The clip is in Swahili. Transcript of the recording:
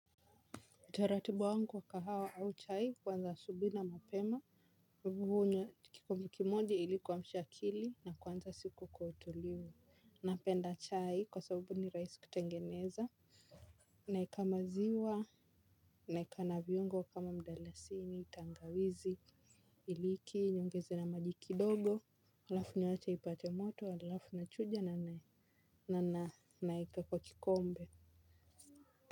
Taratibu wangu wa kahawa au chai, kuanza asubuhi na mapema. Mimi hunywa kikombe kimoja ili kuamsha akili na kuanza siku kwa utulivu. Napenda chai kwa sababu ni rahisi kutengeneza. Naweka maziwa, naweka na viungo kama mdalasini, tangawizi, iliki, niongeze na maji kidogo alafu naacha ipate moto, alafu nachuja na naweka kwa kikombe.